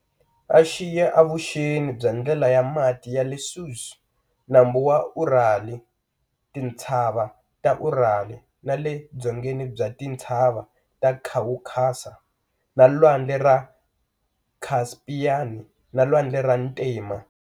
Axiya evuxeni bya ndlela ya mati yale Suez, nambu wa Urali, tintshava ta Urali, na le dzongeni bya tintshava ta Khawukhasa na lwandle ra Khaspiani na lwandle ra ntima.